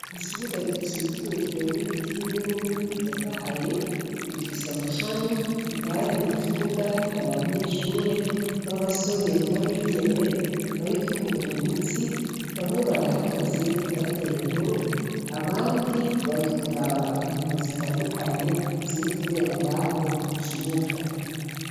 Ikibuga gikikujwe n'ibiti binini bitotahaye bifise amashami indani mu kibuga hari abanyeshure b'abasore n'abigeme bariko binonora imitsi bamwe barahagaze batera inkuru abandi bari kuraba inkino zitandukanye ziri, kubera ngaho mu kibuga.